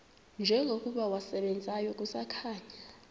njengokuba wasebenzayo kusakhanya